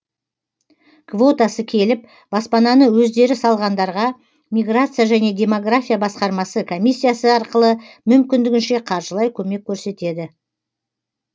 квотасы келіп баспананы өздері салғандарға миграция және демография басқармасы комиссиясы арқылы мүмкіндігінше қаржылай көмек көрсетеді